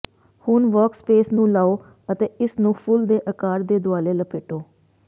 ਹੁਣ ਵਰਕਸਪੇਸ ਨੂੰ ਲਓ ਅਤੇ ਇਸ ਨੂੰ ਫੁੱਲ ਦੇ ਆਕਾਰ ਦੇ ਦੁਆਲੇ ਲਪੇਟੋ